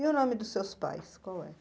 E o nome dos seus pais, qual é?